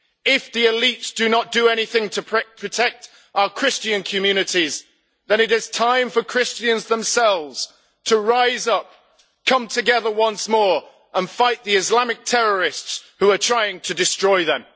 If the elites do not do anything to protect our Christian communities then it is time for Christians themselves to rise up, come together once more and fight the Islamic terrorists who are trying to destroy them.